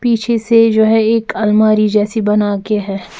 पीछे से जो है एक अलमारी जैसी बना के है।